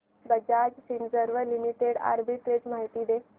Bajaj Finserv limited arbitrage माहिती दे